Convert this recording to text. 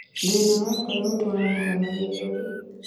Thina wa ngoro utwaranaga na gĩthũri